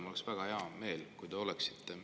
Mul oleks väga hea meel, kui te oleksite.